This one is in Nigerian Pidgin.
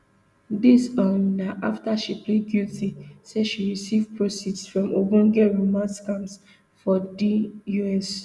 dis um na afta she plead guilty say she receive proceeds from ogbonge romance scams for di us